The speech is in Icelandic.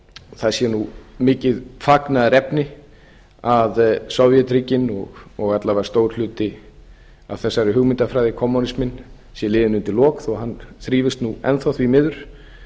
það sé nú mikið fagnaðarefni að sovétríkin og alla vega stór hluti af þessari hugmyndafræði kommúnsiminn sé liðinn undir lok þó að hann þrífist nú enn þá því miður